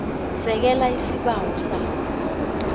sekela isibawo sakho